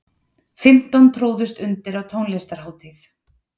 Fimmtán tróðust undir á tónlistarhátíð